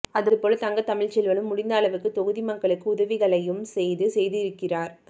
அது போல் தங்க தமிழ்ச்செல்வனும் முடிந்த அளவுக்கு தொகுதி மக்களுக்கு உதவிகளையும் செய்து செய்திருக்கிறார்